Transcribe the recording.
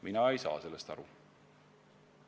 Mina ei saa sellest aru.